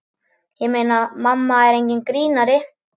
Ég meina, mamma er enginn grínari.